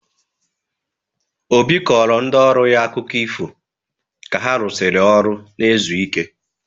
Obi kọrọ ndị ọrụ ya akụkọ ifo ka ha rụsịrị ọrụ na-ezu ike.